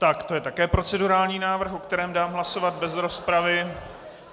Tak to je také procedurální návrh, o kterém dám hlasovat bez rozpravy.